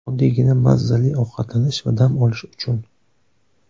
Oddiygina mazzali ovqatlanish va dam olish uchun.